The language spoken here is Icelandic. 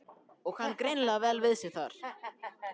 Og kann greinilega vel við sig þarna!